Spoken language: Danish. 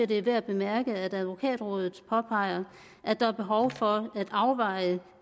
det er værd at bemærke at advokatrådet påpeger at der er behov for at afveje